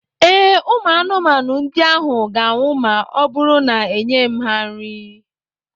Ee, Ụmụ anụmanụ ndị ahụ ga-anwụ ma ọ bụrụ na-enyeghị m ha nri.